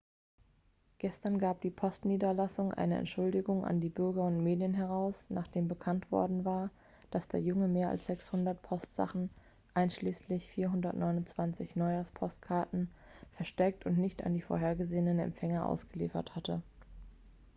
gestern gab die postniederlassung eine entschuldigung an die bürger und medien heraus nachdem bekannt geworden war dass der junge mehr als 600 postsachen einschließlich 429 neujahrs-postkarten versteckt und nicht an die vorgesehenen empfänger ausgeliefert hatte